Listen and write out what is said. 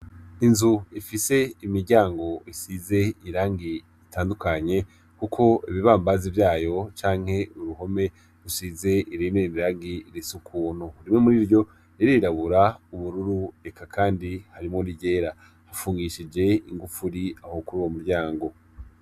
Inzu ifise imiryango isize irangi ritandukanye kuko ibibambazi vyayo canke uruhome rusize irindi rangi risa ukuntu rimwe muriryo ririrabura ubururu eka kandi harimwo n'iryera, hafungishije ingufuri aho kuruwo muryango.